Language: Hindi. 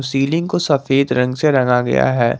सीलिंग को सफेद रंग से रंगा गया है।